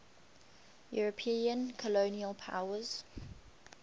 european colonial powers